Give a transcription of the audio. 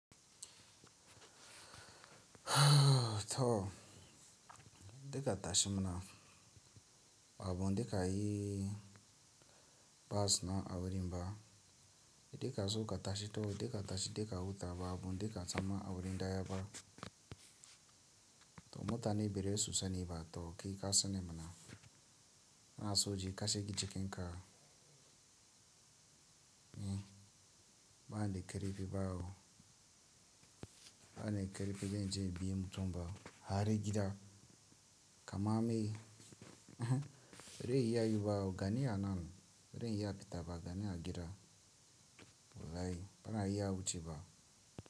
To, dika tashimina abu dika yi bas na a wurin ba, dika zo ka tashi to dika tashi dika wuta ba abu dika tsama a wurin daya ba. To mota ne berai susani ba to kai kasane mana. Na so ji kashe ki jikin ka. Hm, bana da karifi ba o. Bana da karfi janje inbi mutum ba. Har gida, kama me uhm. Bazai iya yi ba o, gani a nan. Bazan iya fita ba, gani a gida. Wallahi, bana iya wuce ba.